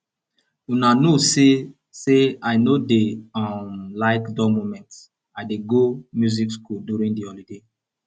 una know say say i no dey um like dull moment i dey go music school during the holiday